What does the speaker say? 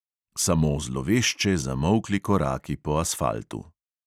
Samo zlovešče zamolkli koraki po asfaltu.